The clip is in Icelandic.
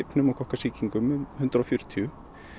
pneumókokka sýkingum um hundrað og fjörutíu